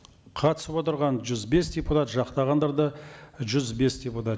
қатысып отырған жүз бес депутат жақтағандар да жүз бес депутат